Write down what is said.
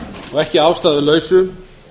og ekki að ástæðulausu